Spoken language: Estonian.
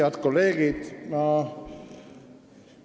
Head kolleegid!